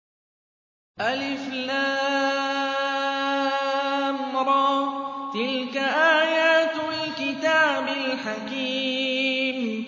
الر ۚ تِلْكَ آيَاتُ الْكِتَابِ الْحَكِيمِ